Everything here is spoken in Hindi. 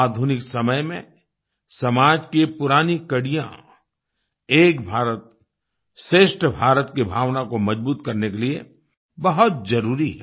आधुनिक समय में समाज की ये पुरानी कड़ियाँ एक भारतश्रेष्ठ भारत की भावना को मजबूत करने के लिए बहुत ज़रूरी हैं